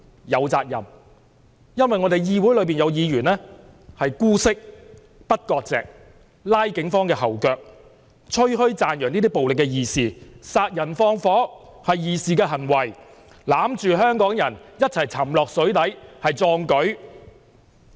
有責任，因為議會中有議員姑息這些暴徒，不割席，拉警方後腿，吹噓讚揚這些暴徒為義士，說殺人放火是義士的行為，攬着香港人一起沉到水底是壯舉。